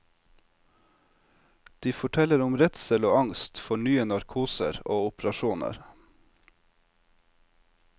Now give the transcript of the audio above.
De forteller om redsel og angst for nye narkoser og operasjoner.